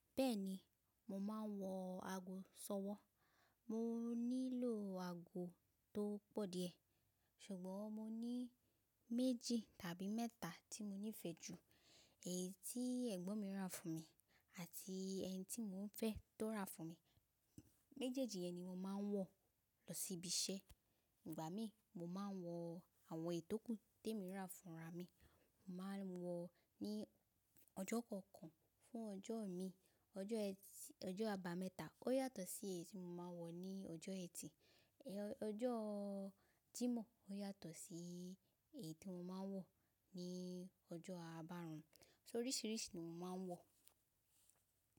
Bẹ́ẹ̀ni, mo máa ń wọ aago sọwọ́. Mo nílò aago tó pọ̀ díẹ̀, ṣùgbọ́n mo ní méjì tàbí mẹ́ta tí mo nífẹ̀ẹ́ jù. Èyí tí ẹ̀gbọ́n mi rà fún mi àti ẹni tí mò ń fẹ́ tó rà fún mi. Méjèèjì yẹn ni mo máa ń wọ̀ lọ síbi iṣẹ́. Ìgbà mí, mo máa ń wọ àwọn èyi tòkù tí èmi rà fúnra mi. Mo máa ń wọ̀ ní ọjọ́ kọ̀ọ̀kan fún ọjọ́o mi. Ọjọ́ ẹtì ọjọ́ àbámẹ́ta ó yàtọ̀ sí èyí tí mo máa wọ̀ ní ọjọ́ ẹtì. Ọjọ́ jímọ̀ ó yàtọ̀ sí èyí tí mo máa ń wọ̀ ní ọjọ́ àbárùn. So oríṣìíríṣìí ni mo máa ń wọ̀.